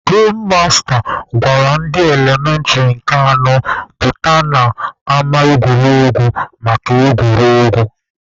Gem masta gwara ndị elementịrị nke anọ pụta n'ama egwuregwu maka egwuregwu.